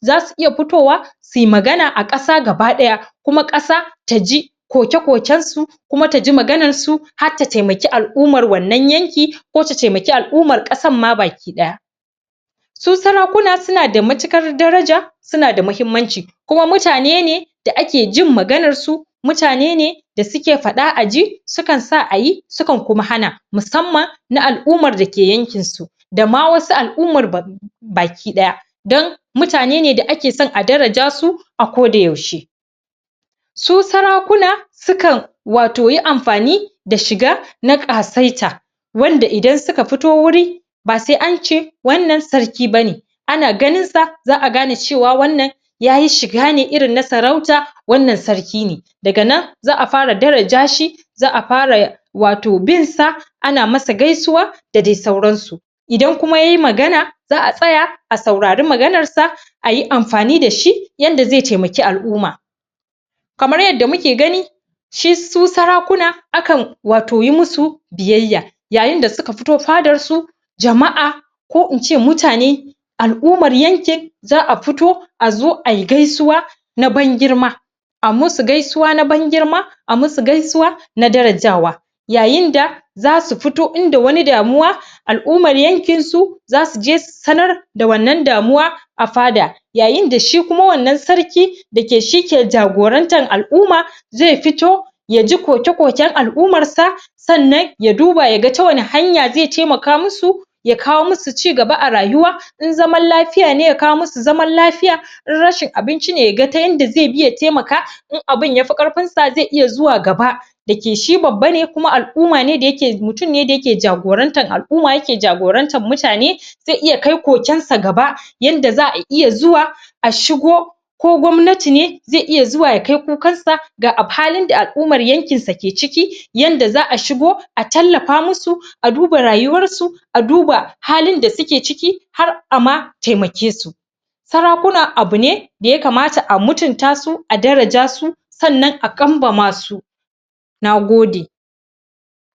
za su iya fitowa si magana a kasa ga ba daya kuma kasa ta ji koke kokensu kuma ta ji maganar su har ta taimaki al'ummar wannan yanki ko ta temaki al'ummar kasamma baki daya su sarakuna suna da matukar daraja suna da mahimmanci kuma mutane ne da ake jin maganar su mutane ne da suke fada a ji sukan sa ayi sukan kuma hana musamman na al'ummar da ke yankinsu da ma wasu al'umar baki daya don mutane ne da ake son daraja su a ko da yaushe su sara kuna sukan, wato yi amfani da shiga na kasaita wanda idan suka fito wuri ba sai ance wannansarki ba ne ana ganinsa za a gane wannan ya yi shigane na sarauta wannan sarki ne daga nan za a fara daraja shi za a fara wato binsa ana masa gaisuwa da dai sauransu idan kuma yai magana za a tsaya a saurari maganar sa ayi amfani da shi yadda zai temaki al'umma kamar yadda muke gani su sarakuna, akan wato yi musu biyayya yayin da suka fito fadar su cikin jama'a ko in ce muta ne al'ummar yanki za a fito a zo ay gaisuwa na ban girma ai musu gaisuwa na ban girma a musu gaisuwa na darajawa yayin da za su fito inda wani damuwa al'ummar yankin su za su je su sanar da wannan damuwa a fada yayin da shikuma wannan sarki da ke shi ke jagorantar al'umma zai fito ya ji koke koken al'ummar sa sannan ya duba yaga yaga ta wani hanya zai bi ya temaka musu ya kawo musu cigaba a rayuwa in zaman liya ne ya kawo musu zaman lafiya in rashin abinci ne yaga ta yadda zai bi ya temaka in abin yafi karfinsa zai iya zuwai gaba da yake shi babba ne da yake al'umma ne mutum ne da yake jagorantar al'uma yake jagoranrar muta ne zai iya kai kokensa gaba yan da za a iya zuwa a shigo ko gwamnati ne zai iya zuwa ya kai kukan sa ga halin da al'ummar yankinsa ke ciki yanda za a shigo a tallafa musu a duba rayuwan su a duba halin da suke ciki har a ma temake su sara kuna abu ne da ya kamata a mutunta su a daraja su sannan a kambama su na gode